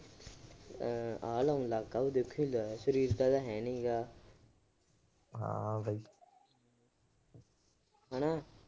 ਆਹ ਇਹਨੂੰ ਦੇਖੋ ਸਰੀਰ ਤਾਂ ਇਹਦਾ ਹੈ ਨੀ ਗਾ ਹੂੰ